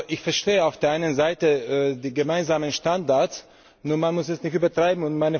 Ich verstehe auf der einen Seite die gemeinsamen Standards, nur muss man es nicht übertreiben.